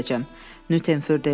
Nyuternfür dedi.